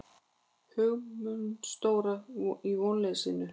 Hugumstóra í vonleysinu.